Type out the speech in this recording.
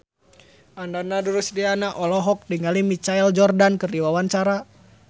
Ananda Rusdiana olohok ningali Michael Jordan keur diwawancara